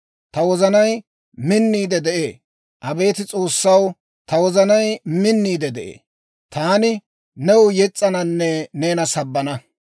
Ta wozanay minniide de'ee; Abeet S'oossaw, ta wozanay minniide de'ee. Taani new yes's'ananne neena sabbana.